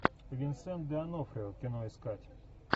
винсент д онофрио кино искать